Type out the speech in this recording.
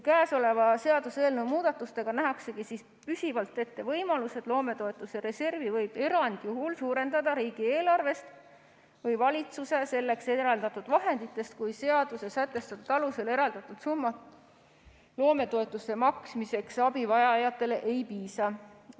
Käesoleva seaduseelnõu muudatustega nähaksegi püsivalt ette võimalused, et loometoetuste reservi võib erandjuhul suurendada riigieelarvest või valitsuse selleks eraldatud vahenditest, kui seaduses sätestatud alusel eraldatud summast loometoetuste maksmiseks abivajajatele ei piisa.